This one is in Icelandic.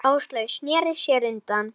Áslaug sneri sér undan.